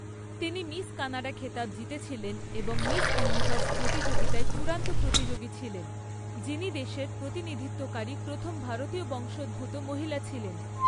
তিনি Miss Canada খেতাব জিতেছিলেন এবং মিস ইউনিভার্স প্রতিযোগিতায় চূড়ান্ত প্রতিযোগী ছিলেন, যিনি দেশের প্রতিনিধিত্বকারী প্রথম ভারতীয় বংশোদ্ভূত মহিলা ছিলেন।